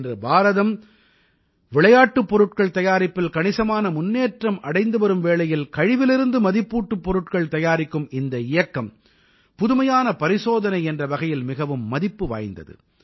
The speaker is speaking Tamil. இன்று பாரதம் விளையாட்டுப் பொருட்கள் தயாரிப்பில் கணிசமான முன்னேற்றம் அடைந்து வரும் வேளையில் கழிவிலிருந்து மதிப்பூட்டுப் பொருட்கள் தயாரிக்கும் இந்த இயக்கம் புதுமையான பரிசோதனை என்ற வகையில் மிகவும் மதிப்பு வாய்ந்தது